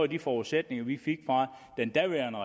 de forudsætninger vi fik fra den daværende